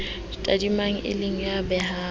tadimang e le a behang